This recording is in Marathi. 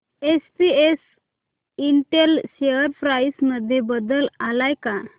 एसपीएस इंटेल शेअर प्राइस मध्ये बदल आलाय का